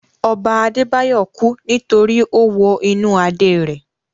Ọba Adé Báyọ̀ kú nítorí ó wo inú Adé rẹ̀